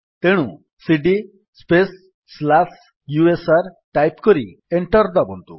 ତେଣୁ CD space slash U S R type କରି enter ଦାବନ୍ତୁ